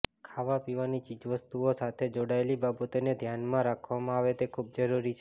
ખાવા પીવાની ચીજ વસ્તુઓ સાથે જોડાયેલી બાબતોને ધ્યાનમાં રાખવામાં આવે તે ખૂબ જરૂરી છે